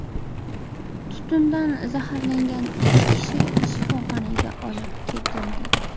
Tutundan zaharlangan ikki kishi shifoxonaga olib ketildi.